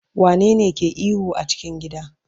wane ne ke ihu a cikin gida?